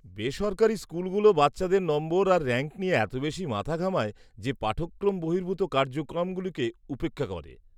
-বেসরকারি স্কুলগুলো বাচ্চাদের নম্বর আর র‍্যাঙ্ক নিয়ে এত বেশি মাথা ঘামায় যে পাঠক্রম বহির্ভূত কার্যক্রমগুলোকে উপেক্ষা করে।